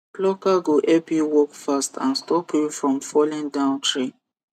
plucker go help you work fast and stop you from falling down tree